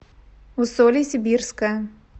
усолье сибирское